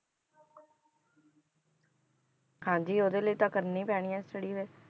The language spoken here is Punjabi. ਹਾਂਜੀ ਉਹਦੇ ਲਈ ਤਾਂ ਕਰਨੀ ਪੈਣੀ ਹੈ study ਫਿਰ।